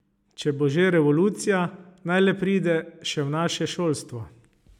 Če bo že revolucija, naj le pride še v naše šolstvo.